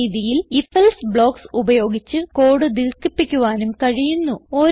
ഈ രീതിയിൽ IfElse blocks ഉപയോഗിച്ച് കോഡ് ദീർഘിപ്പിക്കുവാനും കഴിയുന്നു